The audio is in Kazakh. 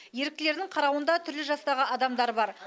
еріктілердің қарауында түрлі жастағы адамдар бар